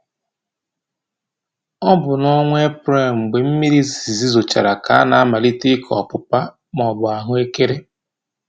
Ọ bụ n'ọnwa Eprelụ mgbe mmiri izizi zochara ka a na-amalite ịkọ ọpụpa/ahụekere.